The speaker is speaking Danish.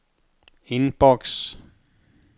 indboks